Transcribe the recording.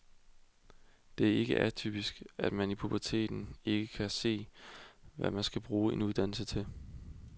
Det er ikke atypisk, at man i puberteten ikke kan se, hvad man kan bruge en uddannelse til.